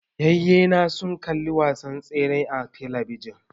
Yayye na sun kalli wasan tseren a talabijin